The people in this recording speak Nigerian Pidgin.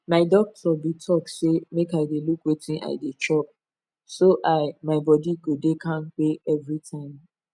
my doctor been talk say make i dey look wetin i dey chop so i my body go dey kampe every time